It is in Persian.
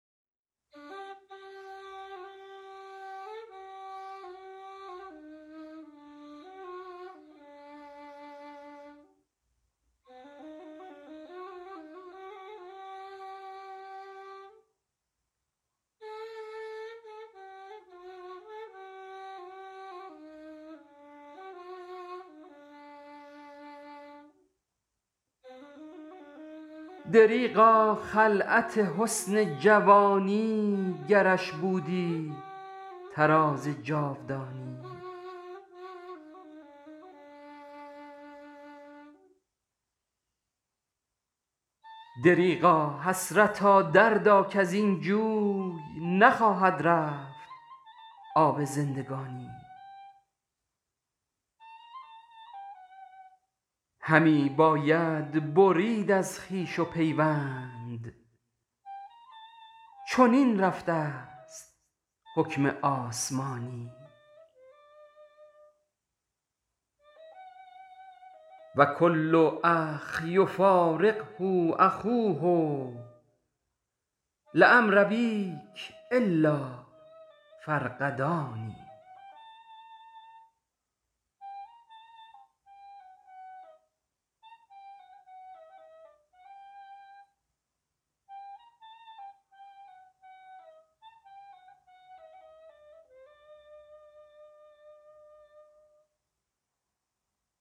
دریغا خلعت حسن جوانی گرش بودی طراز جاودانی دریغا حسرتا دردا کزین جوی نخواهد رفت آب زندگانی همی باید برید از خویش و پیوند چنین رفته است حکم آسمانی و کل اخ یفارقه اخوه لعمر ابیک الا الفرقدان